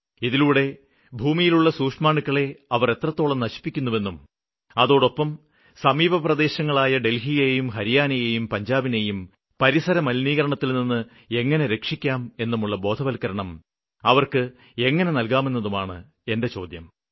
ഇതിലൂടെ ഭൂമിയിലുള്ള സൂക്ഷ്മാണുക്കളെ അവര് എത്രത്തോളം നശിപ്പിക്കുന്നുവെന്നും അതോടൊപ്പം സമീപപ്രദേശങ്ങളായ ഡല്ഹിയെയും ഹരിയാനയെയും പഞ്ചാബിനെയും പരിസരമലിനീകരണത്തില്നിന്ന് എങ്ങനെ രക്ഷിക്കാം എന്നുമുള്ള ബോധവല്ക്കരണം അവര്ക്ക് നല്കാമെന്നതുമാണ് എന്റെ ചോദ്യം